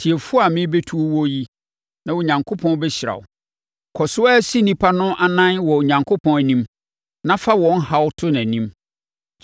Tie fo a merebɛtu wo yi na Onyankopɔn bɛhyira wo. Kɔ so ara si nnipa no anan wɔ Onyankopɔn anim na fa wɔn haw to nʼanim.